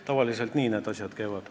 Tavaliselt nii need asjad käivad.